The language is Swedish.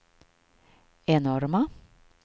enorma